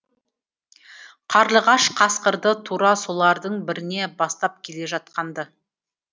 қарлығаш қасқырды тура солардың біріне бастап келе жатқан ды